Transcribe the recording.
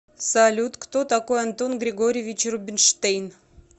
салют кто такой антон григорьевич рубинштейн